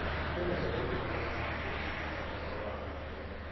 Kwĩna ene nyũmba manjĩtie gũtindĩrĩra ũhoro wa maĩ